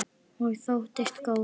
Og þóttist góð.